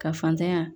Ka fantanya